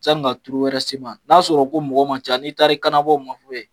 Yanni ka turu wɛrɛ se i ma, n'a'a sɔrɔ ko mɔgɔ ma ca n'i taari kanabɔ u man